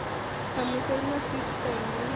ṋamusi ri na sisteme ya